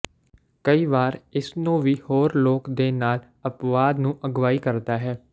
ਕਈ ਵਾਰ ਇਸ ਨੂੰ ਵੀ ਹੋਰ ਲੋਕ ਦੇ ਨਾਲ ਅਪਵਾਦ ਨੂੰ ਅਗਵਾਈ ਕਰਦਾ ਹੈ